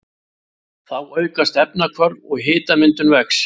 Þá aukast efnahvörf og hitamyndun vex.